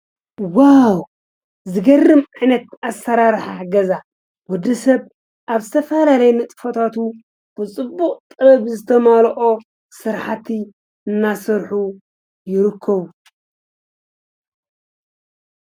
ዝገርም ዓይነት ኣሰራርሓ ገዛ ኮይኑ ዘመናዊ ቅዲ ከዓ ኣለዎ።